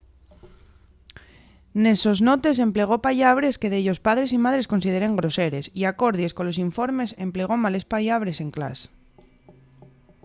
nes sos notes emplegó pallabres que dellos padres y madres consideren groseres y acordies colos informes emplegó males pallabres en clas